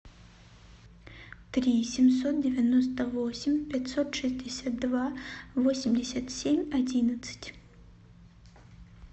три семьсот девяносто восемь пятьсот шестьдесят два восемьдесят семь одиннадцать